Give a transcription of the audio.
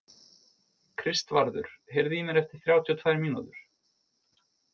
Kristvarður, heyrðu í mér eftir þrjátíu og tvær mínútur.